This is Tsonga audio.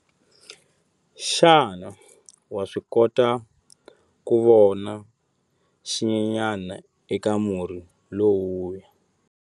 Xana wa swi kota ku vona xinyenyana eka murhi lowuya?